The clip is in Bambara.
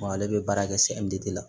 Ale bɛ baara kɛ de la